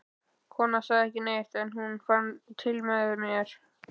Konan sagði ekki neitt, en hún fann til með mér.